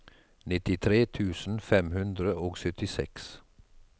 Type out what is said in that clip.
nittitre tusen fem hundre og syttiseks